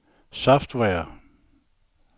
software